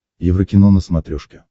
еврокино на смотрешке